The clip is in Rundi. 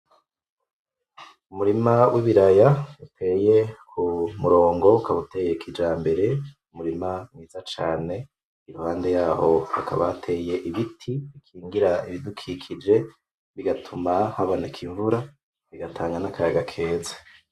Umurima w'ibiraya uteye ku murongo, ukaba uteye kijambere, umurima mwiza cane. Iruhande yaho hakaba hateye ibiti bikingira ibidukikije bigatuma haboneka imvura bigatanga n'akayaga keza.